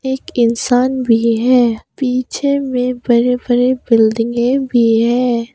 एक इंसान भी है। पीछे में बड़े बड़े बिल्डिंगे भी हैं।